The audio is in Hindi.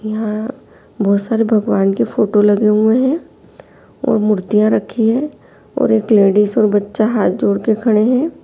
यहाँ बहोत सारे भगवान की फोटो लगे हुए हैं और मूर्तियाँ रखी हैं और एक लेडिस और बच्चा हाथ जोड़ के खड़े हैं।